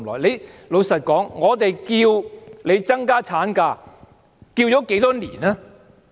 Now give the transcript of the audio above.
坦白說，我們要求增加產假多少年了？